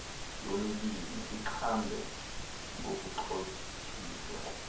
yomibini ixhamle ngokuxhotyiswa